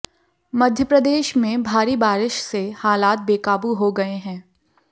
मध्य प्रदेश में भारी बारिश से हालात बेकाबू हो गए हैं